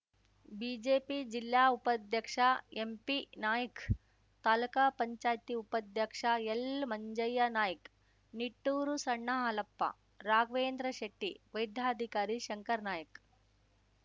BJP ಜಿಲ್ಲಾ ಉಪಾಧ್ಯಕ್ಷ ಎಂಪಿನಾಯ್ಕ ತಾಲುಕಾ ಪಂಚಾಯತಿ ಉಪಾಧ್ಯಕ್ಷ ಎಲ್‌ಮಂಜ್ಯನಾಯ್ಕ ನಿಟ್ಟೂರು ಸಣ್ಣ ಹಾಲಪ್ಪ ರಾಘ್ವೇಂದ್ರಶೆಟ್ಟಿ ವೈದ್ಯಾಧಿಕಾರಿ ಶಂಕರನಾಯ್ಕ